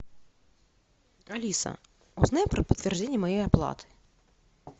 алиса узнай про подтверждение моей оплаты